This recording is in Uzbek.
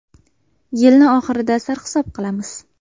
Yilni oxirida sarhisob qilamiz.